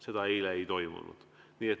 Seda eile ei toimunud.